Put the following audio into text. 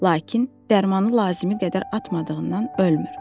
Lakin dərmanı lazımi qədər atmadığından ölmür.